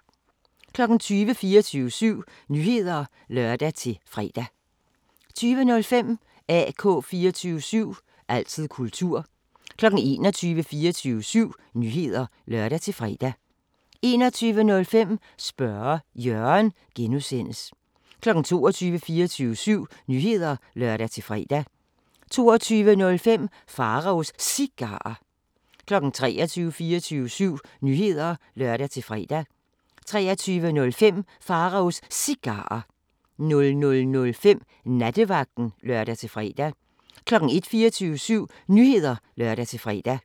20:00: 24syv Nyheder (lør-fre) 20:05: AK 24syv – altid kultur 21:00: 24syv Nyheder (lør-fre) 21:05: Spørge Jørgen (G) 22:00: 24syv Nyheder (lør-fre) 22:05: Pharaos Cigarer 23:00: 24syv Nyheder (lør-fre) 23:05: Pharaos Cigarer 00:05: Nattevagten (lør-fre) 01:00: 24syv Nyheder (lør-fre)